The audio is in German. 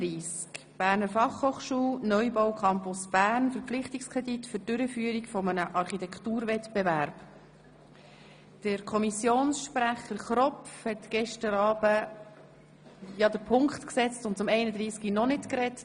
Der Kommissionssprecher Grossrat Kropf hat gestern Abend zu Traktandum 31 noch nicht gesprochen.